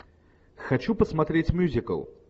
хочу посмотреть мюзикл